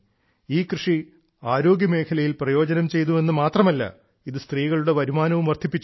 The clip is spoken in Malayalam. ഈ കൃഷി ആരോഗ്യമേഖലയിൽ പ്രയോജനം ചെയ്തു എന്നു മാത്രമല്ല ഇത് സ്ത്രീകളുടെ വരുമാനവും വർദ്ധിപ്പിച്ചു